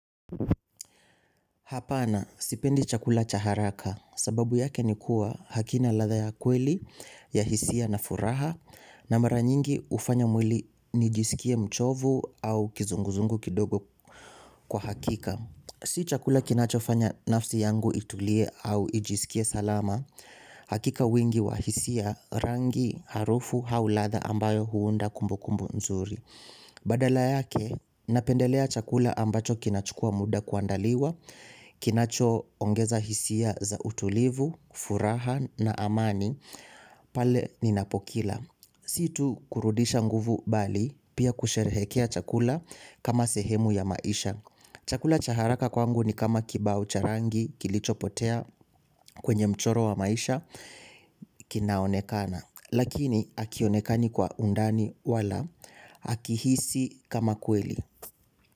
Hapana sipendi chakula cha haraka sababu yake ni kuwa hakina ladha ya kweli ya hisia na furaha na mara nyingi hufanya mwili nijisikie mchovu au kizunguzungu kidogo kwa hakika. Si chakula kinachofanya nafsi yangu itulie au ijisikie salama, hakika wingi wa hisia rangi harufu au ladha ambayo huunda kumbukumbu nzuri. Badala yake, napendelea chakula ambacho kinachukua muda kuandaliwa, kinacho ongeza hisia za utulivu, furaha na amani, pale ninapokila. Sio tu kurudisha nguvu bali, pia kusherehekea chakula kama sehemu ya maisha. Chakula chaharaka kwangu ni kama kibao charangi kilicho potea kwenye mchoro wa maisha kinaonekana. Lakini hakionekani kwa undani wala, hakihisi kama kweli.